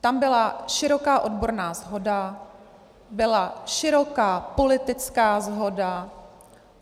Tam byla široká odborná shoda, byla široká politická shoda.